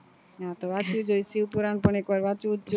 હા તો વાંચી જોઈએ શિવ પુરણ પણ એક વાર વાંચવું